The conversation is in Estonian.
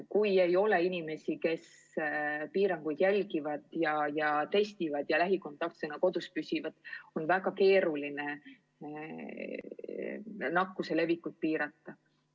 Kui inimesed ei järgi piiranguid, ei testi ega püsi lähikontaktsena kodus, on väga keeruline nakkuse levikut pidama saada.